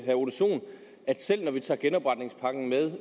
herre ole sohn selv når vi tager genopretningspakken med